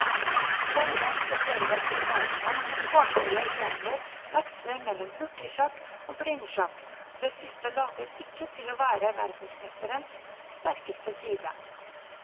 Denne spesielle turneringen med tårnhøye premier veksler mellom hurtigsjakk og blindsjakk, og det siste later ikke til å være verdensmesterens sterkeste side.